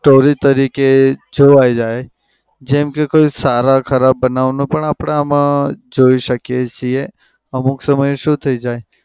story તરીકે જોવાઈ જાય. જેમ કે કોઈ સારા ખરાબ બનાવ પણ આપડે આમાં જોઈ શકીએ છે. અમુક સમય શું થઇ જાય